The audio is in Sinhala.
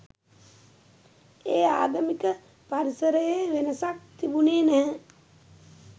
ඒ ආගමික පරිසරයේ වෙනසක් තිබුනේ නැහැ.